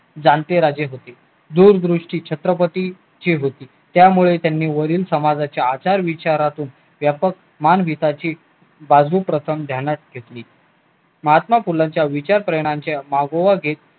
जाणते राजे दूरदृष्टी छत्रपती ची होती त्यामुळे त्यांनी वरील समाजाच्या आचार विचारात मानवीताची बाजू प्रथम ध्यानात ठेवली महात्मा फुलेंच्या प्रेरणांच्या मागोमागे